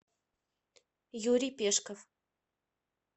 юрий пешков